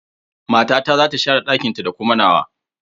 Matata za ta share ɗakinta da kuma nawa.